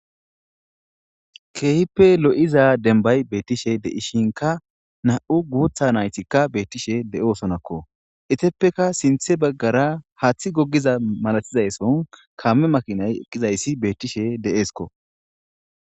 keehippe lo7iza denbay beettishe de7ishinka na7u guutha naytikka beettishe de7osonakko eteppeka sinthe baggara haaththi gogiza malatizay sohon kaame makinay eqqizayssi beettishe de7eeskko.